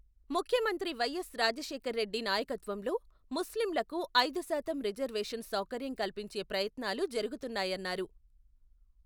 ముఖ్యమంత్రి వైఎస్ రాజశేఖర్ రెడ్డి నాయకత్వంలో, ముస్లింలకు ఐదుశాతం రిజర్వేషన్ సౌకర్యం కల్పించే ప్రయత్నాలు, జరుగుతున్నాయన్నారు.